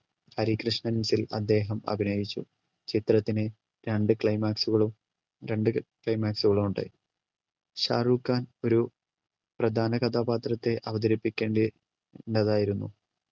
ഹരികൃഷ്ണൻസിൽ അദ്ദേഹം അഭിനയിച്ചു ചിത്രത്തിന് രണ്ടു climax കളും രണ്ടു climax കളും ഉണ്ടായി ഷാരൂഖ് ഖാൻ ഒരു പ്രധാന കഥാപാത്രത്തെ അവതരിപ്പിക്കേണ്ടി ണ്ടതായിരുന്നു